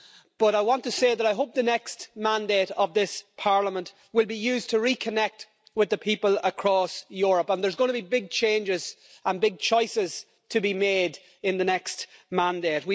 but I want to say that I hope the next mandate of this Parliament will be used to reconnect with the people across Europe, and there's going to be big changes and big choices to be made in the next mandate.